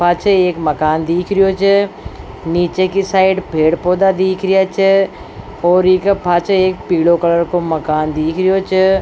पाछे एक मकान दीख रिहो छ निचे की साइड पेड़ पौधा दीख रिहो छ और पाछे एक पीलो कलर को मकान दीख रहो छ।